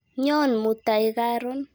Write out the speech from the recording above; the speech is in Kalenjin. Nyon mutai karon.